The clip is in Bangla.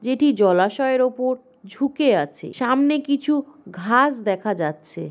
যেটি জলাশয়ের উপর ঝুঁকে আছে সামনে কিছু ঘাস দেখা যাচ্ছে।